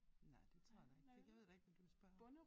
Nej det tror jeg da ikke det jeg ved da ikke hvad du vil spørge om